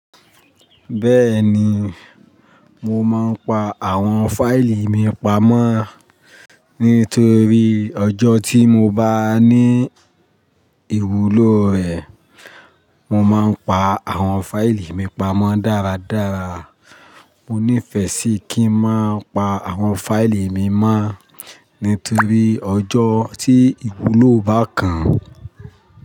Bẹ́ẹ̀ni, mo máa ń pa àwọn fáìlì mi pamọ́ nítorí ọjọ́ tí mo bá ní ìwúlò rẹ̀. Mo máa ń pa àwọn fáìlì mi pamọ́ dáradára. Mo nífẹ́ sí kí n máa pa àwọn fáìlì mi mọ́ nítorí ọjọ́ tí ìwúlò bá kàn.